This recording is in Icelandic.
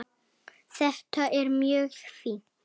Þetta er mjög fínt.